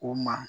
O ma